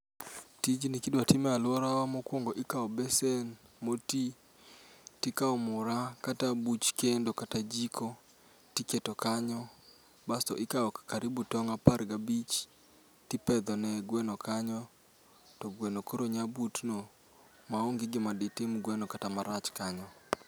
Tijni kidwa time alworawa ikawo besen mo ti, tikao mura kata jiko tiketo kanyo. Basto ikawo karibu tong' apar gabich, tipedho ne gweno kanyo. To gweno koro nya butno ma onge gima ditim gweno kata marach kanyo.